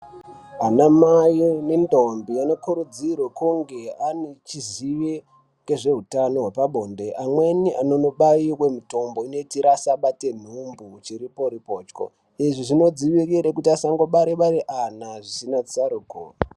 Ana mai nendombi anokurudzirwe kunge ange echiziye ngezveutano hwepabonde amweni anonobaiwe mitombo inoitira asabate nhumbi chiripo ripocho izvi zvinodzivirire kuti asangibare bare ana zvisina tsaruko.